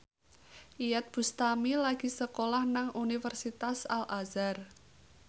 Iyeth Bustami lagi sekolah nang Universitas Al Azhar